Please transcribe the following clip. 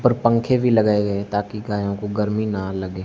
ऊपर पंखे भी लगाए गए हैं ताकि गायों को गर्मी ना लगे।